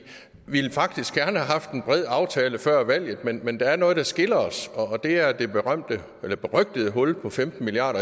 ville faktisk gerne have haft en bred aftale før valget men der er noget der skiller os og det er det berygtede hul på femten milliard